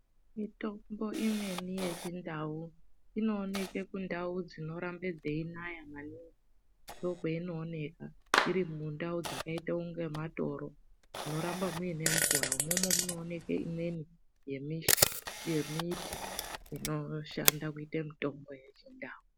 Mitombo imweni yechindau, inooneke kundau dzinorambe dzeinaya maningi ,ndokweinooneka iri mumunda, mundau dzakaite unga matoro munoramba muine mvura. Umomo munooneke imweni, yemi yemiti, inoshanda kuite mitombo yechindau.